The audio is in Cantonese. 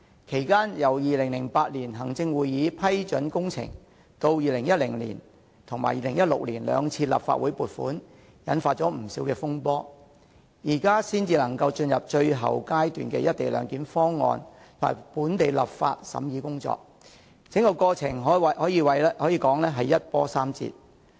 其間由行政會議於2008年批准工程，至2010年及2016年兩次立法會撥款引發不少風波後，現時才可進入最後階段，就關於"一地兩檢"的《條例草案》進行審議工作，整個過程可謂一波三折。